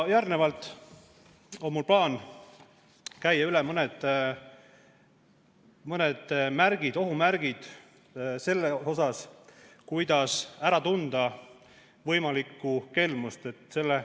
Järgnevalt on mul plaan käia üle mõned ohumärgid, kuidas ära tunda võimalikku kelmust.